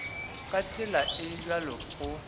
ka tsela e bjalo go